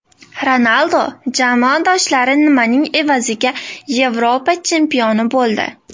Ronaldu jamoadoshlari nimaning evaziga Yevropa chempioni bo‘ldi?